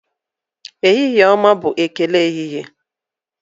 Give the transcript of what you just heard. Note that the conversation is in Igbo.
ehihie ọma' bụ ekele ehihie